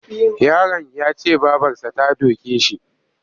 Yaron ya ce babarsa ta doke shi.